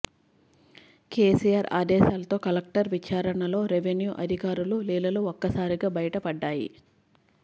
కేసీఆర్ ఆదేశాలతో కలెక్టర్ విచారణలో రెవెన్యూ అధికారులు లీలలు ఒక్కసారిగా బయట పడ్డాయి